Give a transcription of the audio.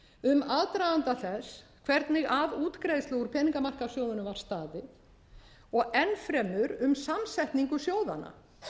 um aðdraganda þess hvernig að útgreiðslu úr peningamarkaðssjóðunum var staðið og enn fremur um samsetningu sjóðanna